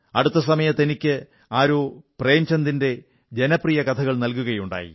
അടുത്തിടെ എനിക്ക് ആരോ പ്രേംചന്ദിന്റെ ജനപ്രിയ കഥകൾ നൽകുകയുണ്ടായി